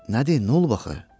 Nədir, nə olub axı?